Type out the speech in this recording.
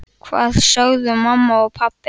Hvað sögðu mamma og pabbi?